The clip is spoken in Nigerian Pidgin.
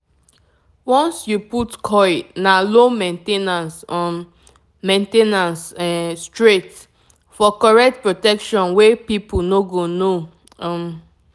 once you put coil na low main ten ance um main ten ance um straight --for correct protection wey people no go know. um